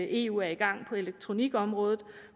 eu er i gang på elektronikområdet